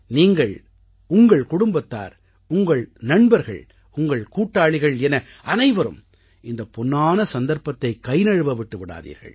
நீங்கள் உங்கள் குடும்பத்தார் உங்கள் நண்பர்கள் உங்கள் கூட்டாளிகள் என அனவைரும் இந்தப் பொன்னான சந்தர்ப்பத்தை கைநழுவ விட்டு விடாதீர்கள்